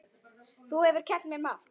Þú hefur kennt mér margt.